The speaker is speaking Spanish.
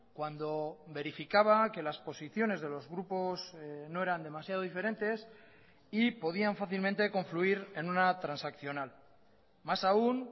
cuando verificaba que las posiciones de los grupos no eran demasiado diferentes y podían fácilmente confluir en una transaccional más aún